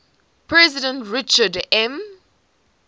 president richard m